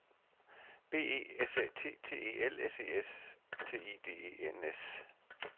B E S Æ T T E L S E S T I D E N S